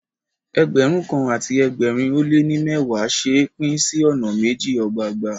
Ẹgbẹ̀rún kan àti ẹgbẹ̀rin ó lé ní mẹ́wàá ṣe é pín sí ọ̀nà méjì ọgbọọgba.